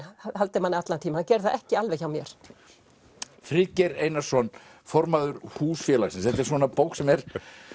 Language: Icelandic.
haldi manni allan tímann hann gerði það ekki alveg hjá mér Friðgeir Einarsson formaður húsfélagsins þetta er svona bók sem er